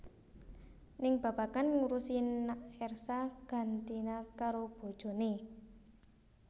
Ning babagan ngurusi nak Ersa gantina karo bojoné